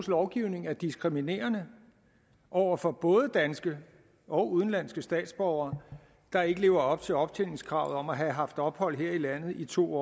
lovgivning er diskriminerende over for både danske og udenlandske statsborgere der ikke lever op til optjeningskravet om at have haft ophold her i landet i to